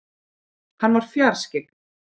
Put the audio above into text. Hann var fjarskyggn.